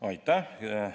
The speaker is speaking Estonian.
Aitäh!